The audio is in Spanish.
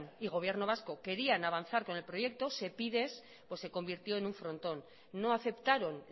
y gobierno vasco querían avanzar con el proyecto sepides pues se convirtió en un frontón no aceptaron